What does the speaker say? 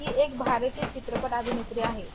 हि एक भारतीय अभिनेत्री आहे.